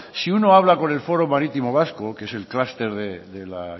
si uno habla con el foro marítimo vasco que es el clúster de la